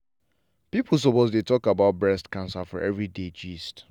people suppose dey talk about breast cancer for everyday gist.